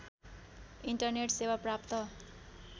internet सेवा प्राप्त